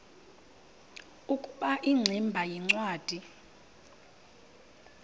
ukuba ingximba yincwadi